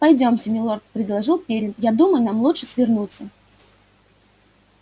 пойдёмте милорд предложил пиренн я думаю нам лучше свернуться